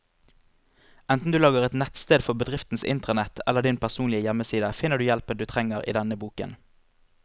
Enten du lager et nettsted for bedriftens intranett eller din personlige hjemmeside, finner du hjelpen du trenger i denne boken.